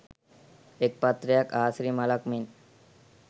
එක් පත්‍රයක් ආසිරි මලක් මෙන්